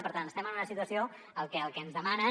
per tant estem en una situació en què el que ens demanen